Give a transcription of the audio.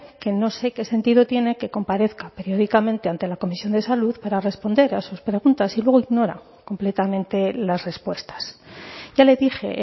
que no sé qué sentido tiene que comparezca periódicamente ante la comisión de salud para responder a sus preguntas si luego ignora completamente las respuestas ya le dije